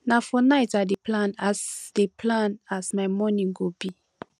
na for night i dey plan as dey plan as my morning go be